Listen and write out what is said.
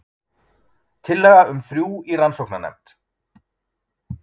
Tillaga um þrjú í rannsóknarnefnd